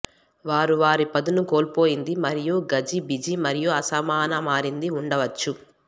వారు వారి పదును కోల్పోయింది మరియు గజిబిజి మరియు అసమాన మారింది ఉండవచ్చు